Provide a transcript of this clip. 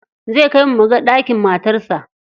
Zai kai mu muga ɗakin matarsa.